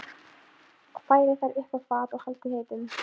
Færið þær upp á fat og haldið heitum.